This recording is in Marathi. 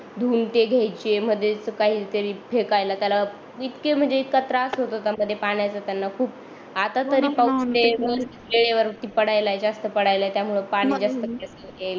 धून ते घ्यायचे मधेच काहीतरी फेकायला त्याला इतके म्हणजे इतका त्रास होत होता मला पाण्याचा आता तरी जास्त पाळायला आहे त्यामुळ पाणी जास्त